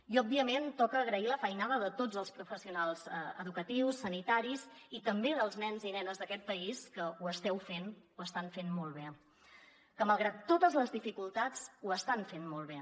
i òbviament toca agrair la feinada de tots els professionals educatius sanitaris i també dels nens i nenes d’aquest país que ho esteu fent ho estan fent molt bé que malgrat totes les dificultats ho estan fent molt bé